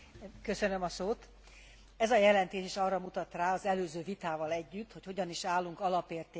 Ez a jelentés arra mutat rá az előző vitával együtt, hogy hogyan is állunk alapértékeink érvényesülésével.